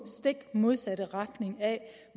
stik modsatte retning af